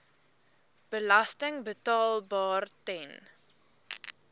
belasting betaalbaar ten